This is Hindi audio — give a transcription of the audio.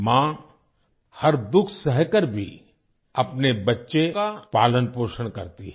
माँ हर दुख सहकर भी अपने बच्चे का पालन पोषण करती है